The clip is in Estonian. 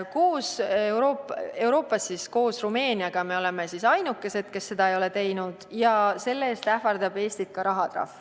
Me oleme Euroopas koos Rumeeniaga ainukesed, kes seda ei ole teinud, ja selle eest ähvardab Eestit ka rahatrahv.